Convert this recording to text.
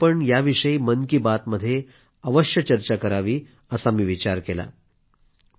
म्हणून आपण याविषयी मन की बातमध्ये अवश्य चर्चा करावी असा मी विचार केला